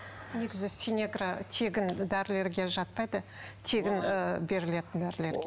негізі синегра тегін дәрілерге жатпайды тегін ы берілетін дәрілерге